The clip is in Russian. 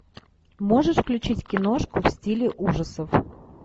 можешь включить киношку в стиле ужасов